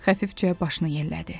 Xəfifcə başını yellədi.